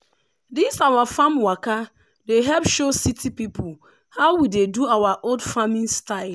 this our farm waka dey help show city people how we dey do our old farming style.